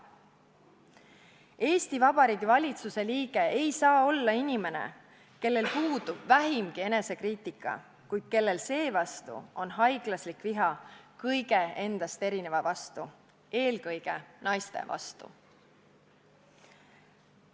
Eesti Vabariigi valitsuse liige ei saa olla inimene, kellel puudub vähimgi enesekriitika, kuid kes seevastu tunneb haiglaslikku viha kõige endast erineva, eelkõige naiste vastu.